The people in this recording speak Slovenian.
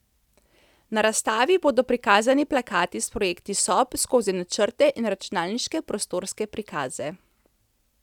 Na razstavi bodo prikazani plakati s projekti sob skozi načrte in računalniške prostorske prikaze.